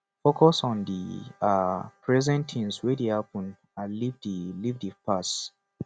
focus on di um present things wey dey happen and leave di leave di past